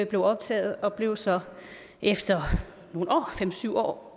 blev optaget og blev så efter nogle år fem syv år